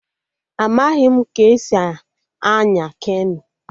Amaghị m ka esi anya keno